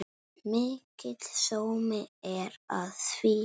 Mikill sómi er að því.